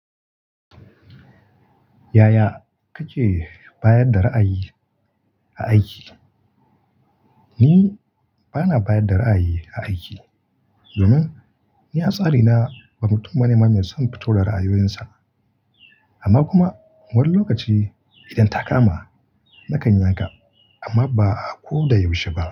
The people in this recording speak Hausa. Yaya kace bayar da ra'ayi a aiki? Ni bana bayar da ra'ayi a aiki domin ni atsari na ba mutum bane mai son fito da ra'ayoyinsa. Amma kuma wani lokaci idan ta kama na kan yanka amma ba a ko da yaushe ba.